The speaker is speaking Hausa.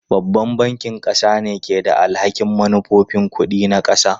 Babban bankin ƙasa ne ke da alhakin manufofin kuɗi na ƙasa.